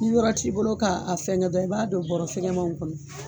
N'i yɔrɔ t' i bolo k'a fɛngɛ dɔrɔn i b'a don bɔra fɛgɛmaw kɔnɔ.